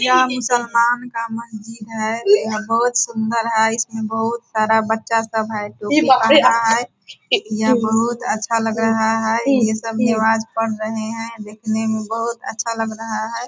यह मुसलमान का मस्जिद है यह बहुत सुंदर है इसमें बहुत सारा बच्चा सब है जो कि रहा है यह बहुत अच्छा लग रहा है यह सब निमाज पढ़ रहे हैं दिखने में बहुत अच्छा लग रहा है।